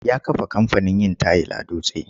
Ya kafa kamfanin yin tayil a Dutse.